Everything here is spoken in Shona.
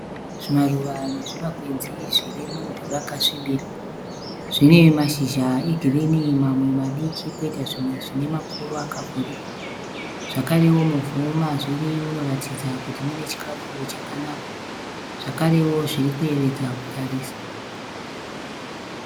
Zvimaruva nezvimakwenzi zviri muvhu rakasvibira. Zvine mashizha egirini mamwe madiki poita zvimwe zvine makuru akavhurika. Zvakarewo muvhu mazviri munoratidza kuti mune chikafu chakanaka. Zvakarewo zviri kuyevedza kutarisa.